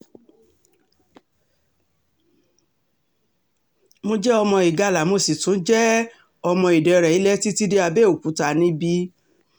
mo jẹ́ ọmọ ìgalà mo sì tún jẹ́ um ọmọ ìdẹ̀rẹ̀ ilẹ̀ títí dé àbẹ́òkúta níbí um